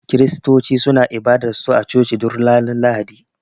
kiristoci suna ibadar su a coci duk Ranar lahadi.